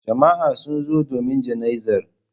Jama'a sun zo domin jana'izar.